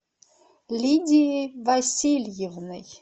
лидией васильевной